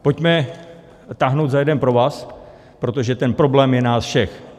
Pojďme táhnout za jeden provaz, protože ten problém je nás všech.